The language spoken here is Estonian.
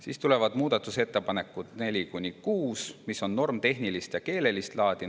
Siis tulevad muudatusettepanekud nr-d 4–6, mis on normitehnilist ja keelelist laadi.